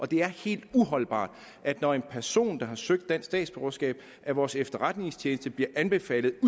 det er helt uholdbart at når en person der har søgt dansk statsborgerskab af vores efterretningstjeneste får den anbefaling at